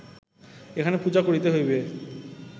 এখানে পূজা করিতে হইবে